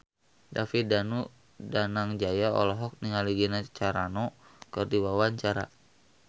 David Danu Danangjaya olohok ningali Gina Carano keur diwawancara